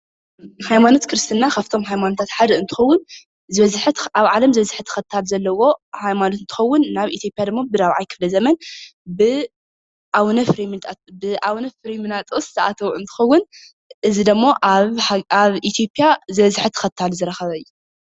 ሃይማኖት ክርስትና ካብቶም ሃይማኖታት ሓደ እንትክውን ኣብ ዓለም ዝበዝሐ ተክታሊ ዘለዎ ሃይማኖት እንትክውን ናብ ኢትዮጲያ ድማ ብራብዓይ ክፍለ ዘመን ብ አቡነ ፍሬሚናጦስ ዝአተወ እንትክውን እዚ ደሞ ኣብ ኢትዮጲያ ዝበዝሐ ተክታሊ ዝረከበ እዩ።